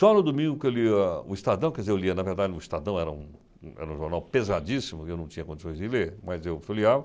Só no domingo que eu lia o Estadão, quer dizer, eu lia, na verdade, o Estadão era um um era um jornal pesadíssimo que eu não tinha condições de ler, mas eu folheava.